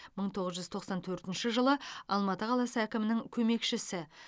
мың тоғыз жүз тоқсан төртінші жылы алматы қаласы әкімінің көмекшісі